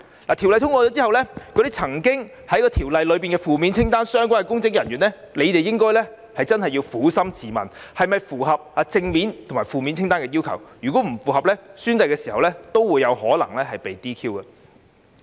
在《條例草案》通過後，那些曾經做出負面清單所列行為的相關公職人員真的要撫心自問，是否符合正面清單及負面清單的要求；，如果不符合，在宣誓時有可能會被 "DQ"。